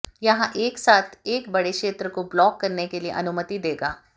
यह एक साथ एक बड़े क्षेत्र को ब्लॉक करने के लिए अनुमति देगा